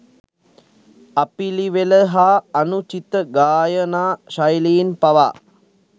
අපිළිවෙල හා අනුචිත ගායනා ශෛලීන් පවා